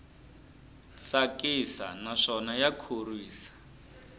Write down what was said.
tsakisa naswona ya khorwisa